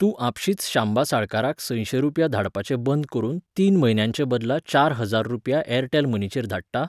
तूं आपशींच शांबा साळकाराक संयशें रुपया धाडपाचें बंद करून तीन म्हयन्यांचेबदला चार हजार रुपया ऍरटॅल मनीचेर धाडटा?